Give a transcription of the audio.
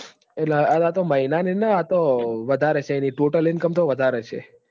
એટલ અતો મહિનાની ના અતો વધાર હશે ઈની ટોટલ icom તો વધાર હશે